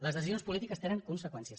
les decisions polítiques tenen conseqüències